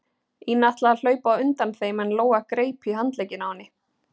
Ína ætlaði að hlaupa á undan þeim en Lóa greip í handlegginn á henni.